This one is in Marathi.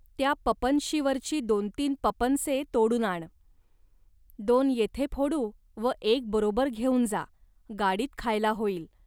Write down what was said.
त्या पपनशीवरची दोनतीन पपनसे तोडून आण. दोन येथे फोडू व एक बरोबर घेऊन जा, गाडीत खायला होईल